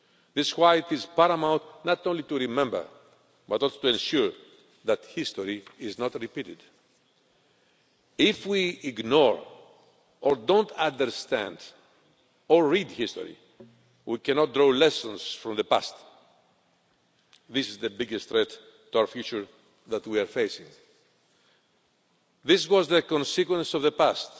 This is why it is paramount not only to remember, but also to ensure that history is not repeated. If we ignore, or fail to understand or read history, we cannot draw lessons from the past. This is the biggest threat to our future that we are facing. This was the consequence in the